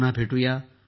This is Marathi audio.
पुन्हा भेटू या